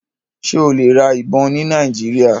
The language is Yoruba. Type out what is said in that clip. Ṣe o le ra ibon ni Nigeria?